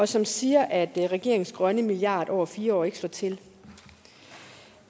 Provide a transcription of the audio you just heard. som siger at regeringens grønne milliard over fire år ikke slår til